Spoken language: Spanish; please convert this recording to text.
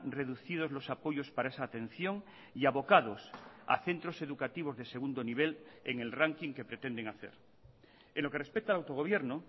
reducidos los apoyos para esa atención y abocados a centros educativos de segundo nivel en el ranking que pretenden hacer en lo que respecta al autogobierno